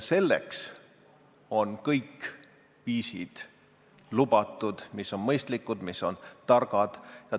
Selleks on lubatud kõik viisid, mis on mõistlikud, mis on targad.